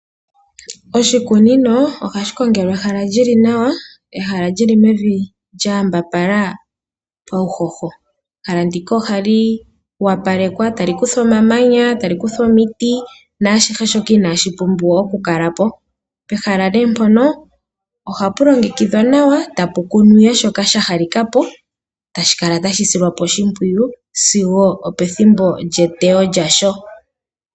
Oshikunino ohashi kongelwa ehala lyili nawa, ehala lyili mevi lya yambapala pauhoho. Ehala ndika ohali opalekwa, tali kuthwa omamanya, tali kuthwa omiti naashoka ashihe inaa shi pumbiwa oku kala po. Pehala nee mpono ohapu longekidhwa nawa, tapu kunwa ihe shoka sha halika po, tashi kala tashi silwa oshimpwiyu, sigo opethimbo lyeteyo lyasho.